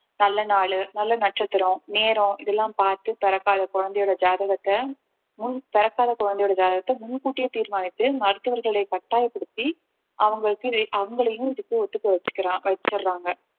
நல்ல நாளு நல்ல நட்சத்திரம் நேரம் இதெல்லாம் பாத்து பிறக்காத குழந்தையோட ஜாதகத்த முன் பிறக்காத குழந்தையோட ஜாதகத்த முன் கூட்டியே தீர்மானித்து மருத்துவர்களை கட்டாயப்படுத்தி அவங்களுக்கு அவங்களையும் இதுக்கு ஒத்துக்க வெச்சுக்கர~ வெச்சர்ராங்க